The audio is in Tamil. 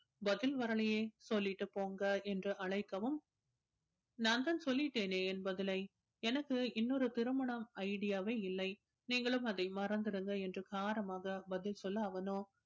பதில் வரலையே சொல்லிட்டு போங்க என்று அழைக்கவும் நான்தான் சொல்லிட்டேனே என் பதிலை எனக்கு இன்னொரு திருமணம் idea வே இல்லை நீங்களும் அதை மறந்திருங்க என்று காரமாக பதில் சொல்ல அவனோ